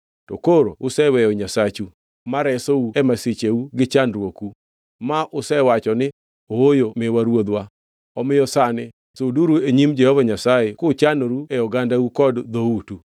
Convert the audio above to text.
To koro useweyo Nyasachu, ma resou e masicheu gi chandruoku. Ma usewacho ni, ‘Ooyo miwa ruodhwa.’ Omiyo sani suduru e nyim Jehova Nyasaye kuchanoru e ogandau kod e dhoutu.”